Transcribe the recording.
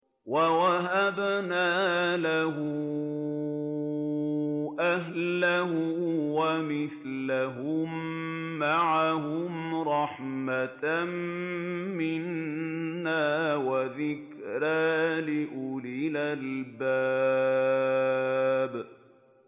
وَوَهَبْنَا لَهُ أَهْلَهُ وَمِثْلَهُم مَّعَهُمْ رَحْمَةً مِّنَّا وَذِكْرَىٰ لِأُولِي الْأَلْبَابِ